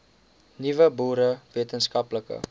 nuwe boere wetenskaplike